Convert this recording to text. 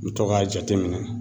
N mi to k'a jateminɛ